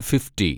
fifty